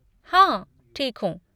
हाँ ठीक हूँ।